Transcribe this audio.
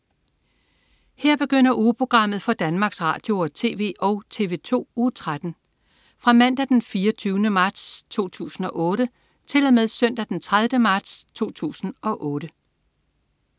Her begynder ugeprogrammet for Danmarks Radio- og TV og TV2 Uge 13 Fra Mandag den 24. marts 2008 Til Søndag den 30. marts 2008